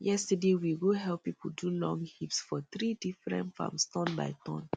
yesterday we go help people do long heaps for three different farms turn by turn